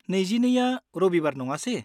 22 आ रबिबार नङासे?